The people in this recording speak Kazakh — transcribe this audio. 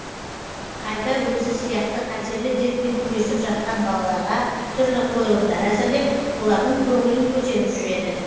қайта өзі сияқты қатерлі дертпен күресіп жатқан балаларға түрлі қойылымдар әзірлеп олардың көңілін көтеріп жүреді